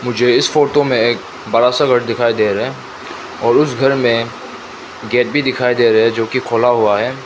मुझे इस फोटो में एक बड़ासा घर दिखाई दे रहा है और उस घर में गेट भी दिखाई दे रहे है जो की खुला हुआ है।